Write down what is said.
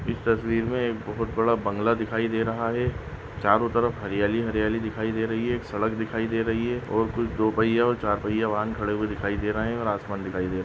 इस तस्वीर में एक बहुत बड़ा बंगला दिखाई दे रहा है चारो तरफ हरियाली हरियाली दिखाई दे रही है एक सड़क दिखाई दे रही है और कुछ दो पहिये और चार पहिये वाहन खड़े हुए दिखाई दे रहे है और आसमान दिखाई दे--